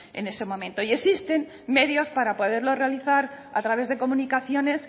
en este momento y existen medios para poderlo realizar a través de comunicaciones